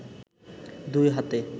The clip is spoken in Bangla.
দুই হাতে